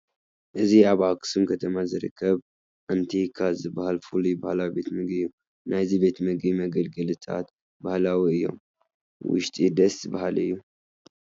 እዚ ኣብ ኣኽሱም ከተማ ዝርከብ ኣንቲካ ዝበሃል ፍሉይ ባህላዊ ቤት ምግቢ እዩ፡፡ ናይዚ ቤት ምግቢ መገልገልታት ባህላዊ እዮም፡፡ ውሽጢ ደስ በሃሊ እዩ፡፡